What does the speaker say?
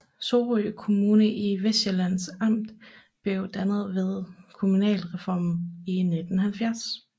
Sorø Kommune i Vestsjællands Amt blev dannet ved kommunalreformen i 1970